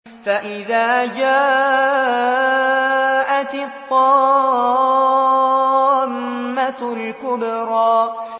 فَإِذَا جَاءَتِ الطَّامَّةُ الْكُبْرَىٰ